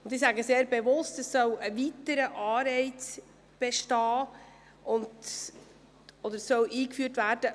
Ich sage bewusst, dass man damit einen weiteren Anreiz einführen will.